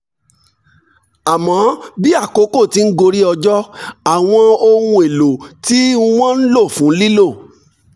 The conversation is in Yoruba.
àmọ́ bí àkókò ti ń gorí ọjọ́ àwọn ohun èlò tí wọ́n ń lò fún lílo